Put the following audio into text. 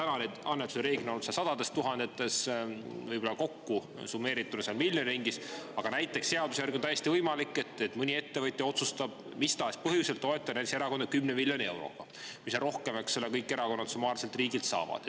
Need annetused reeglina on olnud sadades tuhandetes, summeerituna võib-olla miljoni ringis, aga seaduse järgi on näiteks täiesti võimalik, et mõni ettevõtja otsustab mis tahes põhjusel toetada erakonda näiteks 10 miljoni euroga – see on rohkem, eks ole, kui kõik erakonnad summaarselt riigilt saavad.